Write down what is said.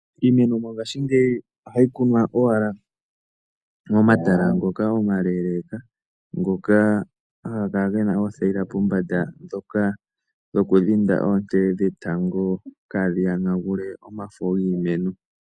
Iimeno mongashingeyi ohayi kunwa owala momatala ngoka omaleleka, ngoka haga kala gena oothayila pombanda dhoka dhina oonte dhetango kaadhi yonagule omafo giimeno.